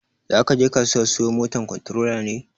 Zakaje kasuwa siyo moto kontorola ne?